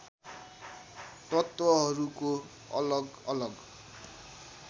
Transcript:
तत्त्वहरूको अलग अलग